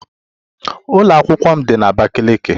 Ụlọ akwụkwọ m dị na Abakiliki